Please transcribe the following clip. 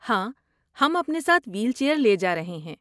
ہاں، ہم اپنے ساتھ وہیل چیئر لے جا رہے ہیں۔